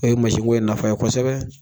ko yen nafa ye kosɛbɛ.